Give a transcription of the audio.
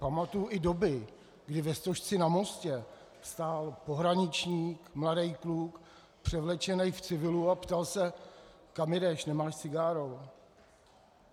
Pamatuji i doby, kdy ve Stožci na mostě stál pohraniční, mladý kluk převlečený v civilu, a ptal se: Kam jedeš, nemáš cigáro?